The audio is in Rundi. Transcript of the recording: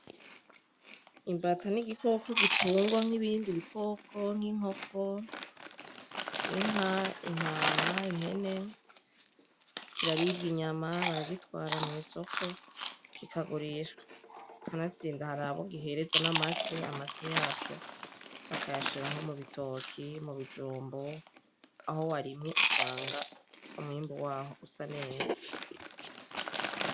Imbata ni igikoko gitungwa nk’ ibindi bikoko nk’inkoko, inka ,intama, impene, kiraribwa inyama, baragitwara mw’isoko kikagurishwa. Kanatsinda harabo gihereza n’amase, amase yaco bakayishira nko mu bitoke, mu bijumbu Aho warimye usanga umwimbu waho usa neza.